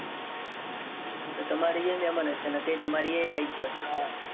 તમારા ઇયે મેહમાન હશે. નકે તમારા ઇયે ઈ આયી જોત.